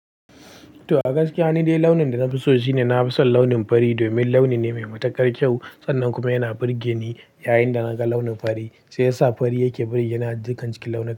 To, a gaskiya ni dai launin da na fi so shi ne na fi son launin fari domin launi ne mai matukar kyau. Sannan kuma yana burge ni. Yayinda naga launin fari sai sa fari yake burge ni a jikin cikin launi.